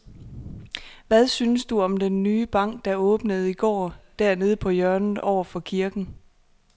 Hvad synes du om den nye bank, der åbnede i går dernede på hjørnet over for kirken?